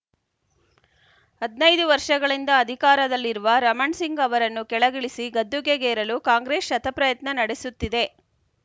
ಹದಿನೈದು ವರ್ಷಗಳಿಂದ ಅಧಿಕಾರದಲ್ಲಿರುವ ರಮಣ್‌ ಸಿಂಗ್‌ ಅವರನ್ನು ಕೆಳಗಿಳಿಸಿ ಗದ್ದುಗೆಗೇರಲು ಕಾಂಗ್ರೆಸ್‌ ಶತಪ್ರಯತ್ನ ನಡೆಸುತ್ತಿದೆ